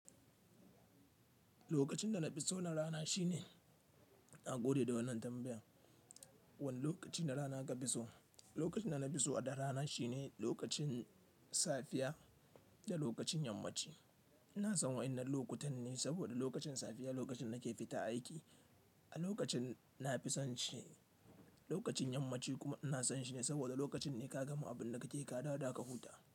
Lokacin da na fi so na rana shine, na gode da wannan tambayar. Wani lokaci na rana ka fi so? Lokacin da na fi so a da rana shine lokacin safiya da lokacin yammaci. Ina son wa'innan lokutan ne saboda lokacin safiya lokacin nake fita aiki. A lokacin nafi son shi. Lokacin yammaci kuma ina son shi ne saboda lokacin ne ka gama abin da kake yi ka dawo da ka huta.